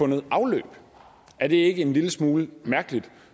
noget afløb er det ikke en lille smule mærkeligt